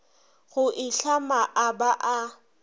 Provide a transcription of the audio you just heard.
go itlhama a ba a